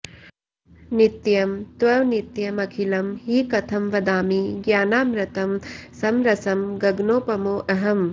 नित्यं त्वनित्यमखिलं हि कथं वदामि ज्ञानामृतं समरसं गगनोपमोऽहम्